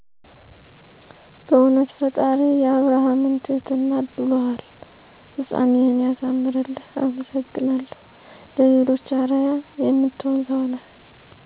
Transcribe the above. "በእዉነት ፈጣሪ የአብርሃምን ትህትና አድሎሀል!! ፍፃሜህን ያሳምርልህ አመሰግናለሁ ለሌሎች አረአያ የምትሆን ሰዉ ነህ" ።